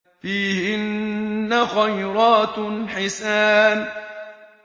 فِيهِنَّ خَيْرَاتٌ حِسَانٌ